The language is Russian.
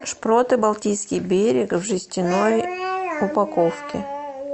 шпроты балтийский берег в жестяной упаковке